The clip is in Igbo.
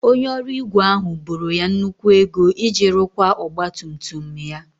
Onye ọrụ ígwè ahụ boro ya nnukwu ego iji rụkwaa ọgba tum tum ya.